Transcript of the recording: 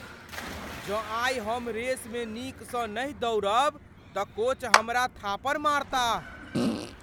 जँ आइ हम रेसमे नीकसँ नहि दौड़ब तऽ कोच हमरा थापड़ मारताह।